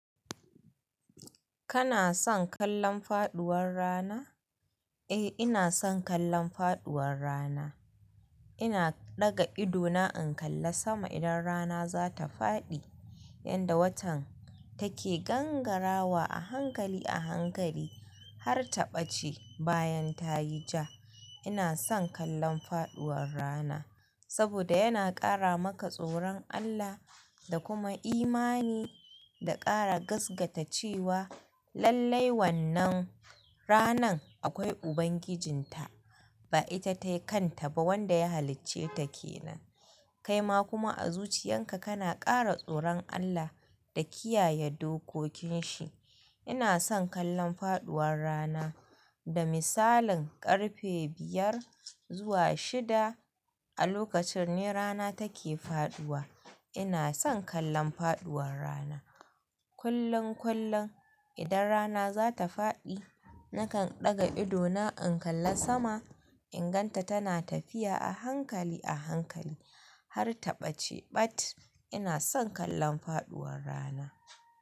Kana son kallon faɗuwar rana? Eh, ina son kallon faɗuwar rana. Ina ɗaga ido na in kalla sama idan rana za ta faɗi, yanda watan take gangarawa a hankali a hankali har ta ɓace bayan ta yi ja. Ina son kallon faɗuwar rana saboda yana ƙara maka tsoron Allah da kuma imani da ƙara gaskata cewa lallai wannan ranan akwai Ubangijinta, ba ita ta kan ta ba, wanda ya halicce ta ke nan. Kai ma kuma a zuciyan ka, kana ƙara tsoron Allah da kiyaye dokokin shi. Ina son kallon faɗuwar rana, da misalin ƙarfe biyar zuwa shida a lokacin ne rana take faɗuwa. Ina son kallon faɗuwar rana. Kullum kullum idan rana za ta faɗi, nakan ɗaga ido na in kalla sama in gan ta tana tafiya a hankali a hankali har ta ɓace ɓat. Ina son kallon faɗuwar rana.